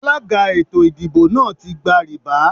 Alága ètò ìdìbò náà ti gba rìbá.